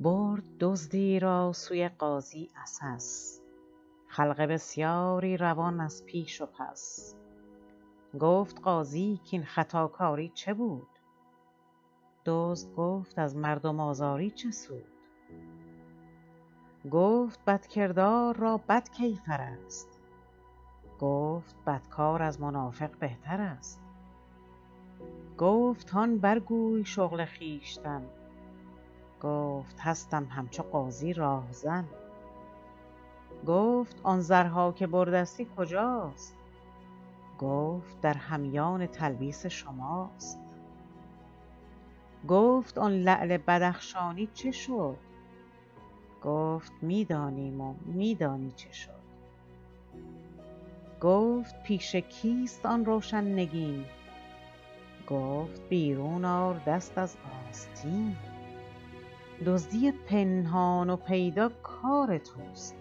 برد دزدی را سوی قاضی عسس خلق بسیاری روان از پیش و پس گفت قاضی کاین خطاکاری چه بود دزد گفت از مردم آزاری چه سود گفت بدکردار را بد کیفر است گفت بدکار از منافق بهتر است گفت هان بر گوی شغل خویشتن گفت هستم همچو قاضی راهزن گفت آن زرها که بردستی کجاست گفت در همیان تلبیس شماست گفت آن لعل بدخشانی چه شد گفت می دانیم و می دانی چه شد گفت پیش کیست آن روشن نگین گفت بیرون آر دست از آستین دزدی پنهان و پیدا کار توست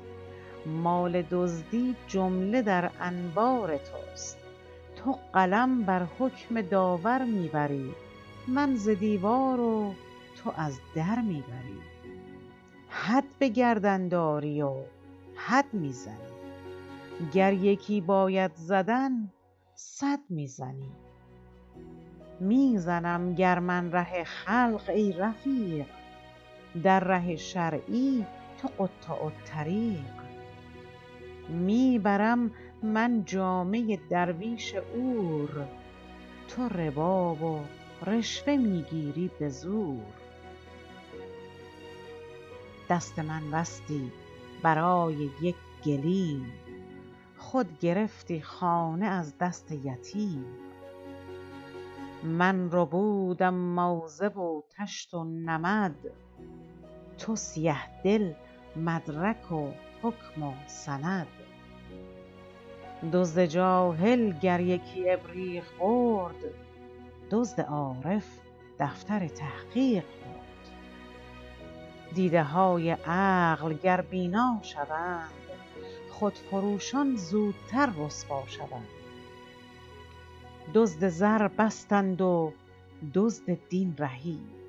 مال دزدی جمله در انبار توست تو قلم بر حکم داور می بری من ز دیوار و تو از در می بری حد به گردن داری و حد می زنی گر یکی باید زدن صد می زنی می زنم گر من ره خلق ای رفیق در ره شرعی تو قطاع الطریق می برم من جامه درویش عور تو ربا و رشوه می گیری به زور دست من بستی برای یک گلیم خود گرفتی خانه از دست یتیم من ربودم موزه و طشت و نمد تو سیه دل مدرک و حکم و سند دزد جاهل گر یکی ابریق برد دزد عارف دفتر تحقیق برد دیده های عقل گر بینا شوند خود فروشان زودتر رسوا شوند دزد زر بستند و دزد دین رهید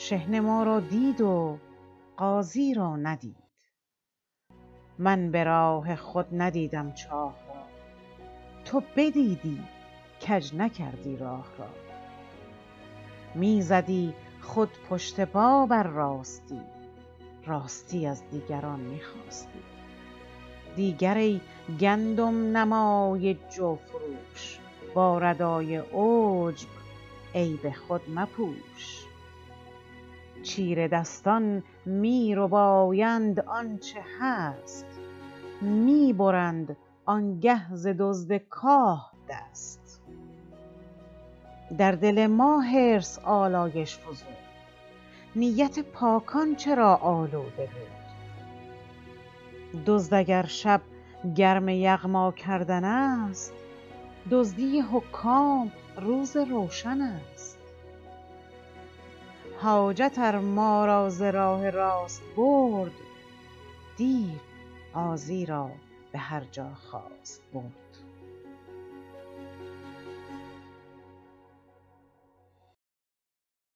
شحنه ما را دید و قاضی را ندید من براه خود ندیدم چاه را تو بدیدی کج نکردی راه را می زدی خود پشت پا بر راستی راستی از دیگران می خواستی دیگر ای گندم نمای جو فروش با ردای عجب عیب خود مپوش چیره دستان می ربایند آنچه هست می برند آنگه ز دزد کاه دست در دل ما حرص آلایش فزود نیت پاکان چرا آلوده بود دزد اگر شب گرم یغما کردن است دزدی حکام روز روشن است حاجت ار ما را ز راه راست برد دیو قاضی را به هرجا خواست برد